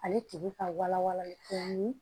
Ale tigi ka wala wala ko ni